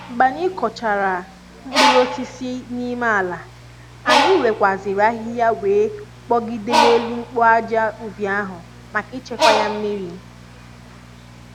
mgbe anyị kụchara mkpụrụ osisi n'ime ala, anyị wekwa ziri ahịhịa wee kpogide n'elu mkpu ájá ubi ahu maka ichekwa ya mmiri